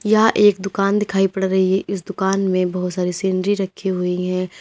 यह एक दुकान दिखाई पड़ रही है इस दुकान में बहुत सारी सीनरी रखी हुई है।